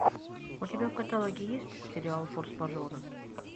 у тебя в каталоге есть сериал форс мажоры